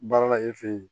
Baara la e fɛ ye